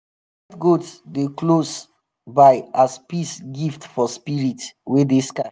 white goat dey close by as peace gift for spirit wey dey sky.